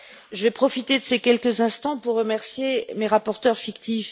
Je vais profiter de ces quelques instants pour remercier mes rapporteurs fictifs.